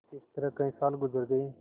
इस तरह कई साल गुजर गये